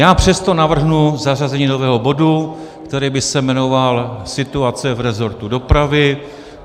Já přesto navrhnu zařazení nového bodu, který by se jmenoval Situace v resortu dopravy.